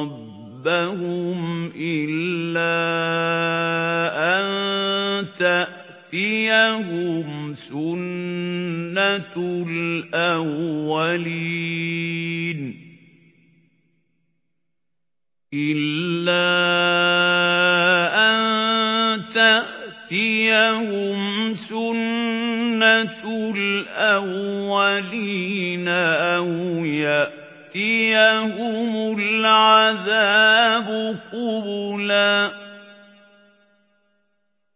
رَبَّهُمْ إِلَّا أَن تَأْتِيَهُمْ سُنَّةُ الْأَوَّلِينَ أَوْ يَأْتِيَهُمُ الْعَذَابُ قُبُلًا